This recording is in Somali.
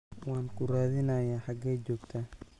waan ku raadinayaa xagee joogtaa